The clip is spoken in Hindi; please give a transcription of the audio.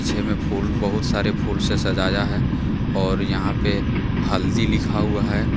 में फूल बहुत सारे फूल से सजाया है और यहां पे हल्दी लिखा हुआ है।